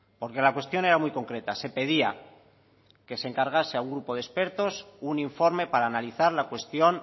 porque la cuestión era muy concreta se pedía que se encargase a un grupo de expertos un informe para analizar la cuestión